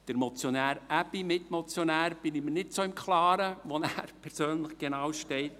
Beim Mitmotionär Aebi bin ich mir nicht so im Klaren, wo er persönlich genau steht.